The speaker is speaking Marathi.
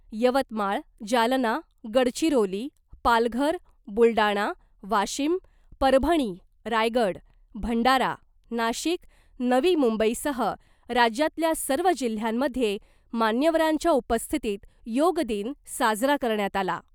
यवतमाळ , जालना , गडचिरोली , पालघर , बुलडाणा , वाशिम , परभणी , रायगड , भंडारा , नाशिक , नवी मुंबईसह राज्यातल्या सर्व जिल्ह्यांमधे मान्यवरांच्या उपस्थितीत योग दिन साजरा करण्यात आला .